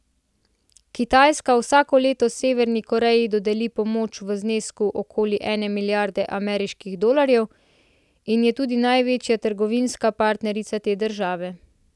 Kitajska vsako leto Severni Koreji dodeli pomoč v znesku okoli ene milijarde ameriških dolarjev in je tudi največja trgovinska partnerica te države.